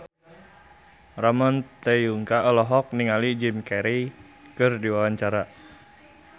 Ramon T. Yungka olohok ningali Jim Carey keur diwawancara